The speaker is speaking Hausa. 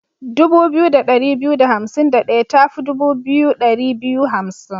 Dubu biyu da ɗari biyu da hansim da ɗaya ta fi dubu biyu ɗari biyu hansim.